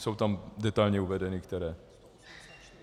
Jsou tam detailně uvedeny které.